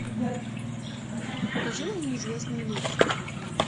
покажи мне неизвестные лица